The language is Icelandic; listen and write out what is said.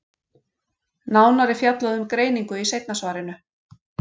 Nánar er fjallað um greiningu seinna í svarinu.